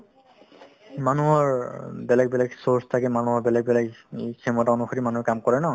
মানুহৰ বেলেগ বেলেগ source থাকে মানুহৰ বেলেগ বেলেগ ক্ষমতা অনুসৰি মানুহে কাম কৰে ন